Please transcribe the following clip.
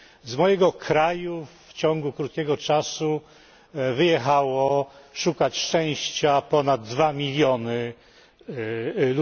Z mojego kraju w ciągu krótkiego czasu wyjechało szukać szczęścia ponad 2 miliony osób.